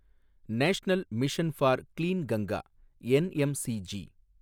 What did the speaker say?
national mission for clean Ganga, NMCG